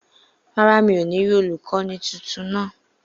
Rárá, mi ò ní rí olùkọ́ni tuntun náà